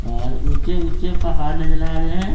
और ऊंचे ऊंचे पहाड़ नजर आ रहे है।